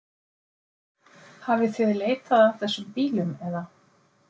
Hafið þið leitað að þessum bílum eða?